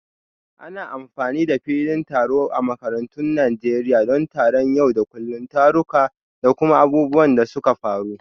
Ana amfani da filin taro a makarantun Najeriya don taron yau da kullun, taruka, da kuma abubuwan da suka faru.